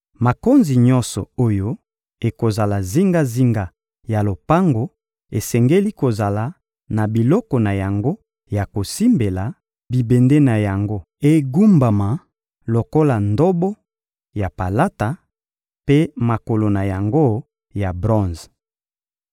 Makonzi nyonso oyo ekozala zingazinga ya lopango esengeli kozala na biloko na yango ya kosimbela, bibende na yango egumbama lokola ndobo, ya palata; mpe makolo na yango ya bronze.